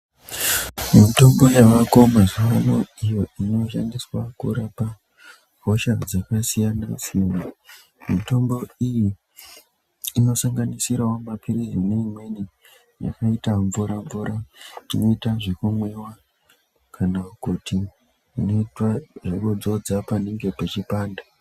Mitombo yavako mazuwaano iyo inoshandiswa kurapa hosha dzakasiyana siyana mitombo iyi inosanganisirao mapirizi neimweni yakaita mvura mvura inoita zvekumwiwa kana kuti inoitwa zvekudzodza panenge pechipanda.